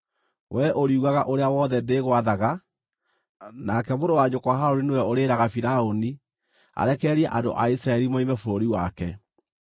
Wee ũriugaga ũrĩa wothe ndĩgwathaga, nake mũrũ wa nyũkwa Harũni nĩwe ũrĩĩraga Firaũni arekererie andũ a Isiraeli moime bũrũri wake.